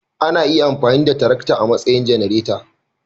Ana iya amfani da tarakta a matsayin janareta